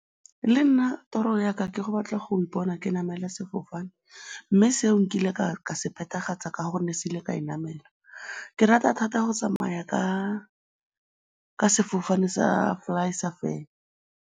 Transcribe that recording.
Le nna toro ya ka ke go batla go ipona ke namela sefofane mme seo nkile ka se phethagatsa ka gonne se ile ka se namela. Ke rata thata go tsamaya ka sefofane sa FlySafair